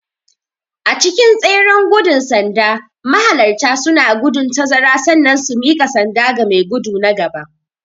A cikin tseren gudun sanda mahalarta suna gudun tazara sannan su mika sanda ga mai gudu na gaba.